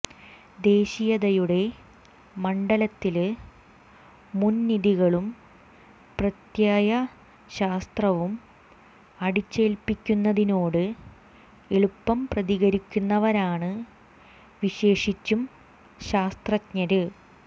ദേശീയതയുടെ മണ്ഡലത്തില് മുന്വിധികളും പ്രത്യയശാസ്ത്രവും അടിച്ചേല്പിക്കുന്നതിനോട് എളുപ്പം പ്രതികരിക്കുന്നവരാണ് വിശേഷിച്ചും ശാസ്ത്രജ്ഞര്